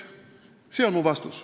See on mu vastus.